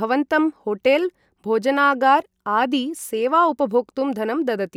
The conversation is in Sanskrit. भवन्तं होटेल् भोजनागार आदि सेवा उपभोक्तुं धनं ददति।